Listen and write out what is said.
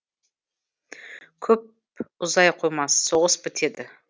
көп ұзай қоймас соғыс бітеді